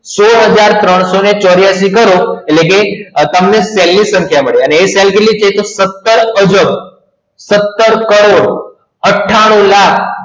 સોડ હજાર ત્રણસો ચોર્યાસી કરો એટલે કે સેલ ની સંખ્યા મળે એ સેલ કેટલી છે તો સતાર અજબ સતાર કરોસ અથાનું લાખ